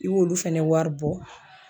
I b'olu fɛnɛ wari bɔ.